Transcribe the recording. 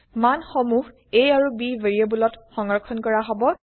মান সমুহ160 a আৰু b ভেৰিয়েবলত সংৰক্ষন কৰা হব